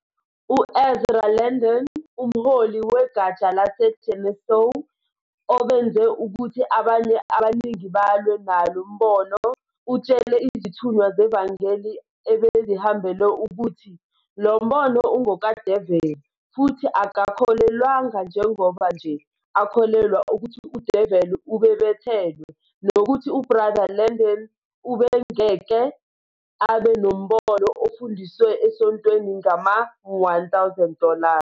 U-Ezra Landon, umholi wegatsha laseGeneseo obenze ukuthi abanye abaningi balwe nalo Mbono, utshele izithunywa zevangeli ebezihambele ukuthi "lo mbono ungokaDeveli futhi akakholelwanga njengoba nje akholelwa ukuthi udeveli ubebethelwe nokuthi UBr Landing ubengeke abe nombono ofundiswe esontweni ngama- 1000 dollars.